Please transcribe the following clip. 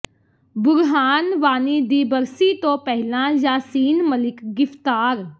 ਬੁਰਹਾਨ ਵਾਨੀ ਦੀ ਬਰਸੀ ਤੋਂ ਪਹਿਲਾਂ ਯਾਸੀਨ ਮਲਿਕ ਗਿ੍ਫ਼ਤਾਰ